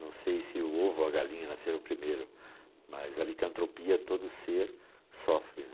Não sei se o ovo ou a galinha nasceram primeiro, mas a licantropia todo ser sofre.